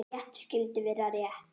Rétt skyldi vera rétt.